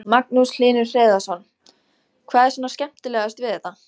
Magnús Hlynur Hreiðarsson: Hvað er svona skemmtilegast við þetta?